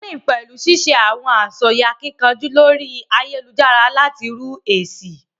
Trolling pẹlu ṣiṣe awọn asọye akíkanjú lórí ayélujára láti rú esi